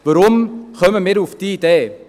Weshalb kommen wir auf diese Idee?